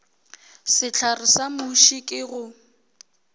sehlare sa muši ke go